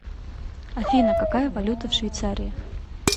афина какая валюта в швейцарии